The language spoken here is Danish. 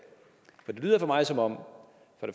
lyder for mig som om